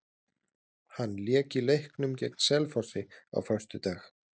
Hann lék í leiknum gegn Selfossi á föstudag.